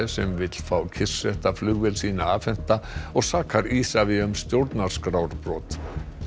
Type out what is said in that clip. sem vill fá kyrrsetta flugvél sína afhenta og sakar Isavia um stjórnarskrárbrot